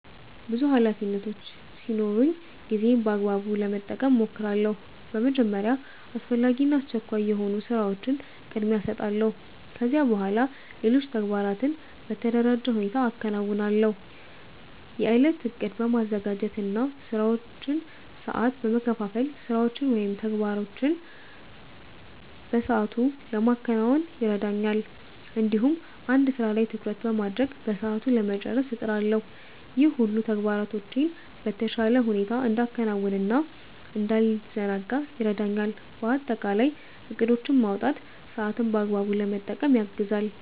ብዙ ኃላፊነቶች ሲኖሩኝ ጊዜዬን በአግባቡ ለመጠቀም እሞክራለሁ። በመጀመሪያ አስፈላጊ እና አስቸኳይ የሆኑ ስራዎችን ቅድሚያ እሰጣለሁ። ከዚያ በኋላ ሌሎች ተግባራትን በተደራጀ ሁኔታ አከናውናለሁ። የእለት እቅድ በማዘጋጀት እና ስራዎችን በሰዓት በመከፋፈል ስራዎችን ወይም ተግባሮችን በሰአቱ ለማከናወን ይረዳኛል። እንዲሁም አንድ ስራ ላይ ትኩረት በማድረግ በሰዓቱ ለመጨረስ እጥራለሁ። ይህ ሁሉ ተግባራቶቼን በተሻለ ሁኔታ እንዳከናውን እና እንዳልዘናጋ ይረዳኛል። በአጠቃላይ እቅዶችን ማውጣት ሰአትን በአግባቡ ለመጠቀም ያግዛል።